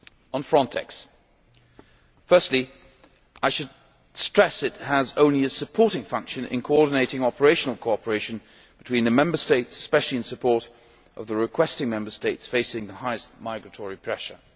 On FRONTEX, firstly I should stress it has only a supporting function in coordinating operational cooperation between the Member States, especially in support of the requesting Member States facing the highest migratory pressure.